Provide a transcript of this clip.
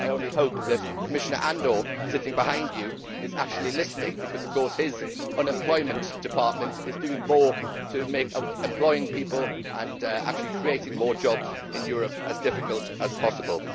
I only hope that Commissioner Andor, sitting behind him, is actually listening, because of course his Unemployment Department is doing more to make employing people and actually creating more jobs in Europe as difficult as possible.